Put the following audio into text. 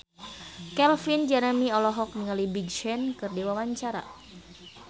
Calvin Jeremy olohok ningali Big Sean keur diwawancara